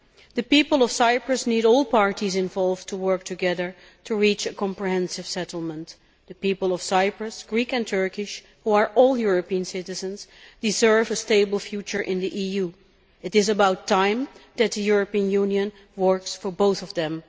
The people of Cyprus need all parties involved to work together to reach a comprehensive settlement. The people of Cyprus Greek and Turkish who are all European citizens, deserve a stable future in the EU. It is about time that the European Union works for both of them.